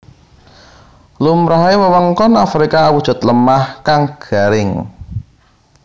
Lumrahe wewengkon Afrika awujud lemah kang garing